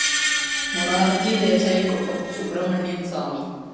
മൊറാര്‍ജി ദേശായിക്കൊപ്പം സുബ്രഹ്മണ്യന്‍ സ്വാമി